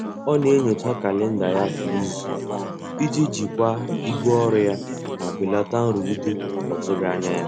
Ọ na-enyocha kalenda ya kwa izu iji jikwaa ibu ọrụ ya ma belata nrụgide ọtụghị anya ya.